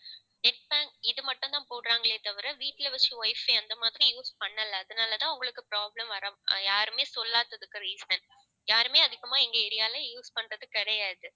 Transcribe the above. Net pack இது மட்டும்தான் போடுறாங்களே தவிர வீட்டுல வச்சு wifi அந்தமாதிரி use பண்ணல. அதனாலதான் உங்களுக்கு problem வர~ யாருமே சொல்லாததுக்கு reason யாருமே அதிகமா எங்க area ல use பண்றது கிடையாது